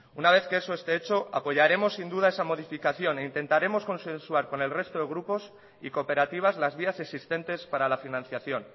una vez que eso esté hecho apoyaremos sin duda esa modificación e intentaremos consensuar con el resto de grupos y cooperativas las vías existentes para la financiación